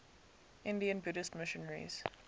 indian buddhist missionaries